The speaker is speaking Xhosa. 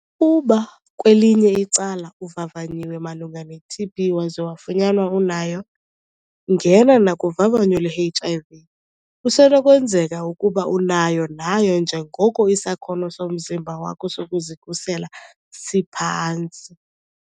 Ukuba, kwelinye icala, uvavanyiwe malunga neTB waza wafunyanwa unayo, ngena nakuvavanyo lweHIV - kusenokwenzeka ukuba unayo nayo njengoko isakhono somzimba wakho sokuzikhusela siphantsi.